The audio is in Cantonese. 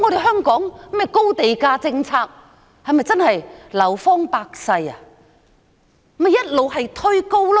香港的高地價政策會否真的"流芳百世"？